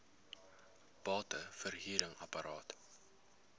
bate verhuring apart